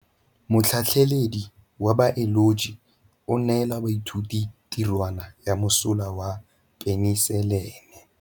Motlhatlhaledi wa baeloji o neela baithuti tirwana ya mosola wa peniselene.